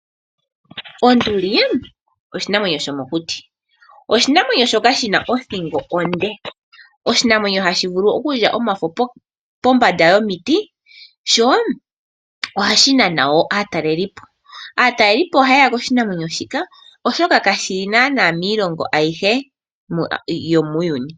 Onduli oshinanwenyo shomokuti oshina othingo onde, oshinamwenyo hashi vulu okulya omafo pombanda yomiti sho ohashi nana aatalelipo. Aatalelipo oha yeya koshinamwenyo shika oshoka kashili kiilongo ayihe yomuuyuni.